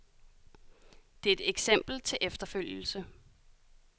Det er et eksempel til efterfølgelse.